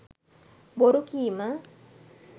බොරු කීම,